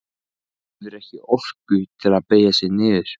Hefur ekki orku til þess að beygja sig niður.